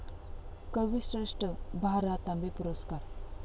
कविश्रेष्ठ भा. रा. तांबे पुरस्कार